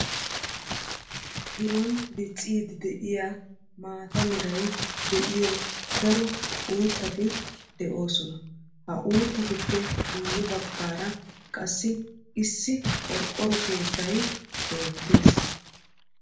Biron dicciidi de'iyaa maata meray de'iyo daro uuttati de'oosona. Ha uuttatuppe guye bagaara qassi issi qorqoro keettay beetees.